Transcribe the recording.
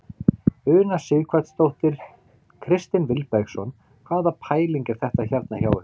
Una Sighvatsdóttir: Kristinn Vilbergsson hvaða pæling er þetta hérna hjá ykkur?